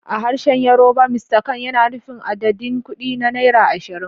A harshen Yorùbá, "Mr kan" yana nufin adadin kuɗi na naira ashirin.